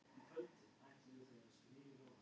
Samtímis því að brjóta niður vefi mynda gerlarnir loft.